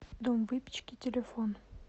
дом выпечки телефон